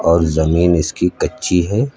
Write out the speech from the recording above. और जमीन इसकी कच्ची है।